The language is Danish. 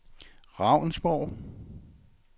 Ravnsborg